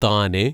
താനെ